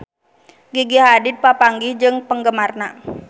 Gigi Hadid papanggih jeung penggemarna